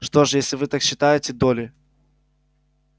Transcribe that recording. что ж если уж вы так считаете долли